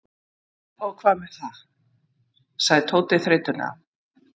Og hvað með það? sagði Tóti þreytulega.